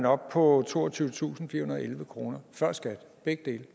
op på toogtyvetusinde og elleve kroner før skat begge dele